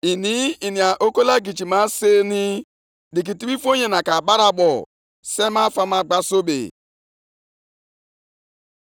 Ọ ga-aga nʼihu mgbe niile na-awụpụ ihe o ji ụgbụ ya gbute na-ala mba niile nʼiyi, dịka o si masị ya, na-egosighị obi ebere ọbụla?